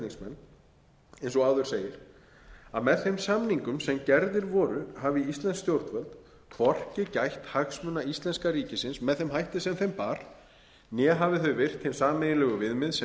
flutningsmenn eins og áður segir að með þeim samningum sem gerðir voru hafi íslensk stjórnvöld hvorki gætt hagsmuna íslenska ríkisins með þeim hætti sem þeim bar né hafi þau virt hin sameiginlegu viðmið sem